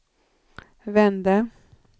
vände